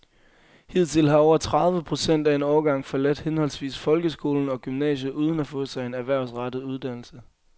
Hidtil har over tredive procent af en årgang forladt henholdsvis folkeskolen og gymnasiet uden at få sig en erhvervsrettet uddannelse.